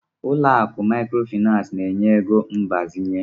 Ụlọ akụ Maịkrofịnansị na-enye ego mgbazinye.